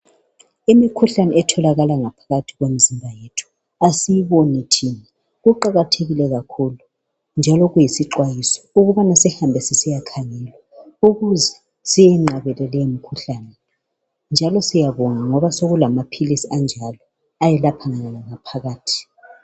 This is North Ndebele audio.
Imkhuhlane etholakala ngaphakathi kwemzimba yethu asiyiboni thina .Kuqakathekile kakhulu njalo kuyisixwayiso ukubana sihambe sisiya khangelwa ukuze siyenqabele lemikhuhlane .Njalo siyabonga ngoba sokulama philisi anjalo ayelapha ngaphakathi.